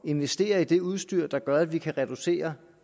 investere i det udstyr der gør at de kan reducere